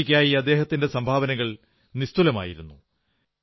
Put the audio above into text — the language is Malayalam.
ഹോക്കിക്കായി അദ്ദേഹത്തിന്റെ സംഭാവനകൾ നിസ്തുലമായിരുന്നു